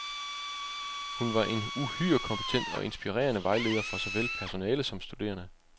Hun var en uhyre kompetent og inspirerende vejleder for såvel personale som studerende.